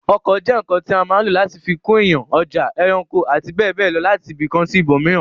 Ọkọ̀ jẹ́ ǹǹkan tí a má lò láti fi kó èèyàn, ọjà, ẹranko, àti bẹ́ẹ̀bẹ́ẹ̀ lọ láti ibìkan sí ibòmíràn